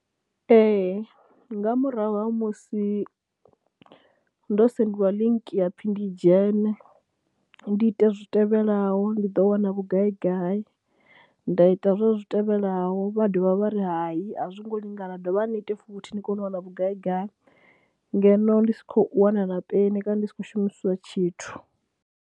Ee nga murahu ha musi ndo sendeliwa link ya pfhi ndi dzhene, ndi ite zwi tevhelaho ndi ḓo wana vhugai gai. Nda ita zweswo zwi tevhelaho vha dovha vha ri hayi a zwi ngo lingana, dovhani ni ite futhi ni kone u wana vhugai gai, ngeno ndi si khou wana na peni kana ndi sa khou shumisiwa tshithu.